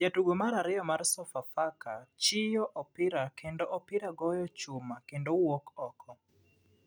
Jatugo mar ariyo mar sofafaka chiyo opira kendo opira goyo chuma kendo wuok oko.